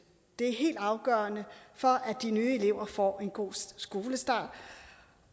det er helt afgørende for at de nye elever får en god skolestart